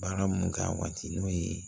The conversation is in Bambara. Baara mun k'a waati n'o ye